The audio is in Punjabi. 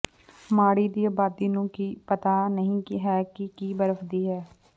ਮਾੜੀ ਦੀ ਆਬਾਦੀ ਨੂੰ ਪਤਾ ਨਹੀ ਹੈ ਕਿ ਕੀ ਬਰਫ ਦੀ ਹੈ